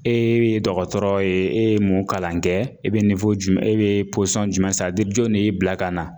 E bɛ dɔgɔtɔrɔ ye e ye mun kalan kɛ e bɛ jumɛn e bɛ pɔsɔn jumɛn jon de y'e bila ka na.